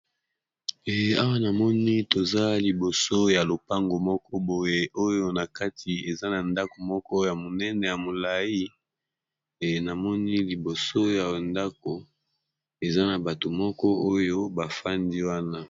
Awa namoni toza liboso ya lopango moko boye oyo na kati eza na ndako moko ya monene ya molai namoni liboso ya ndako eza na bato moko oyo bafandi wana.